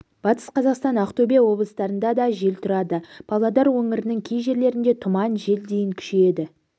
батыс қазақстан ақтөбе облыстарында да жел тұрады павлодар өңірінің кей жерлерінде тұман жел дейін күшейеді